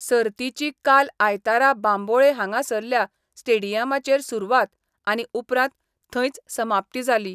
सर्तिची काल आयतारा बांबोळे हांगासरल्या स्टेडियमाचेर सुरवात आनी उपरांत थंयच समाप्ती जाली.